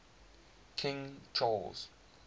king charles